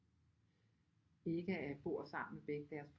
Ikke bor sammen med begge deres